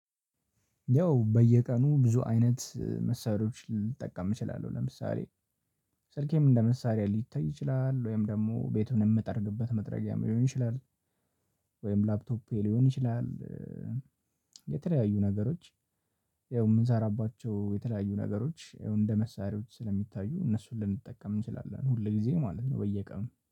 ያው በየቀኑ ብዙ አይነት መሳሪያዎችን ልንጠቀም እንችላለን ለምሳሌ ስልኬም እንደ መሳሪያ ሊታይ ይችላል ወይም ደሞ ቤቱን እምጠርግበት መጥረጊያ ሊሆን ይችላል። ወይም ላፕቶፔ ሊሆን ይችላል ኧ የተለያዩ ነገሮች ያው እምንሰራባቸው የተለያዩ ነገሮች እንደ መሳሪያዎች ስለሚታዩ እነሱን ልንጠቀም እንችላለን ሁል ጊዜ ማለት ነው። በየቀኑ